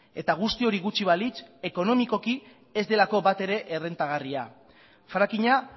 eta guzti hori gutxi balitz ekonomikoki ez delako batere errentagarria frakinga